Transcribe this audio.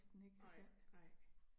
Nej nej